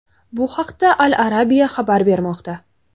Bu haqda Al-Arabia xabar bermoqda .